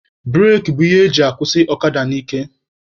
Bureki bụ ihe eji akwụsị ọkada n'ike.